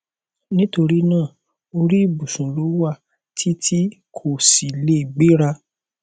nítorí náà orí ìbùsùn ló wà tí tí kò sì lè gbéra